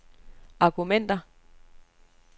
argumenter